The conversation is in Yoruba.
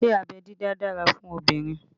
Ṣé abẹ́ dídá dára fún obìnrin?